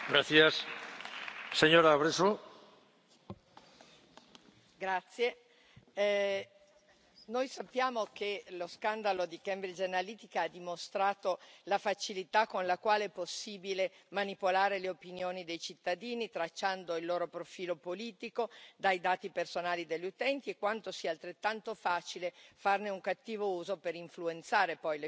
Signor Presidente, onorevoli colleghi, noi sappiamo che lo scandalo di Cambridge Analytica ha dimostrato la facilità con la quale è possibile manipolare le opinioni dei cittadini, tracciando il loro profilo politico dai dati personali degli utenti e quanto sia altrettanto facile farne un cattivo uso per influenzare poi le scelte politiche.